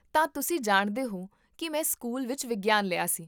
ਤਾਂ ਤੁਸੀਂ ਜਾਣਦੇ ਹੋ ਕੀ ਮੈਂ ਸਕੂਲ ਵਿੱਚ ਵਿਗਿਆਨ ਲਿਆ ਸੀ?